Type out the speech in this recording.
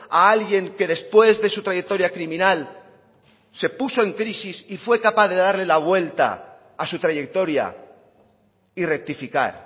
a alguien que después de su trayectoria criminal se puso en crisis y fue capaz de darle la vuelta a su trayectoria y rectificar